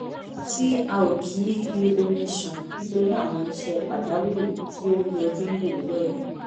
tí a ò kì í fi omi ṣàn nítorí àwọn iṣẹ́ pàjàwírì tí ó ń yọjú ní òwúrọ̀ yìí